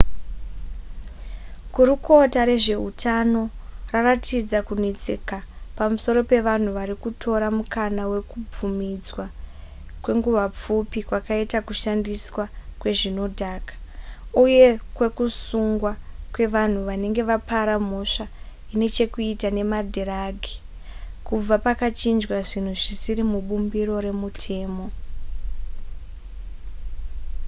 gurukota rezveutano raratidza kunetseka pamusoro pevanhu vari kutora mukana wekubvumidzwa kwenguva pfupi kwakaitwa kushandiswa kwezvinodhaka uye kwekusungwa kwevanhu vanenge vapara mhosva ine chekuita nemadhiragi kubva pakachinjwa zvinhu zvisiri mubumbiro remutemo